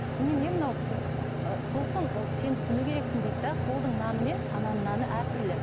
немене мынау ы сосын сен түсіну керексің дейді де қолдың наны мен ананың наны әртүрлі